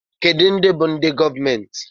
Kedụ ndị bú ndị gọọmenti?